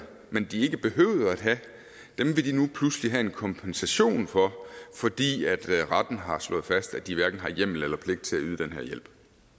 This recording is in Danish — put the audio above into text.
men som de ikke behøvede at have vil de nu pludselig have en kompensation for fordi retten har slået fast at de hverken har hjemmel eller pligt til at yde den her hjælp